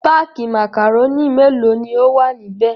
Páákì màkàrónì mélòó ni ó wà níbẹ̀?